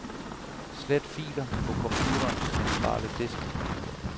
Slet filer på computerens centrale disk.